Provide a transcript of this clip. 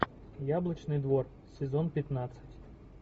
яблочный двор сезон пятнадцать